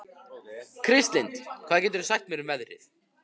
Kristlind, hvað geturðu sagt mér um veðrið?